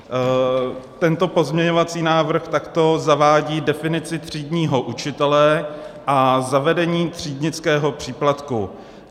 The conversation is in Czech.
Tento pozměňovací návrh takto zavádí definici třídního učitele a zavedení třídnického příplatku.